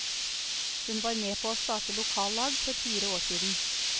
Hun var med på å starte lokallag for fire år siden.